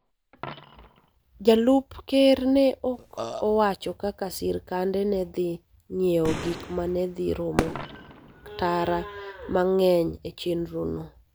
Jalup Ker ne ok owacho kaka sirkande ne dhi ng�iewo gik ma ne dhi romo tara mang�eny e chenrono.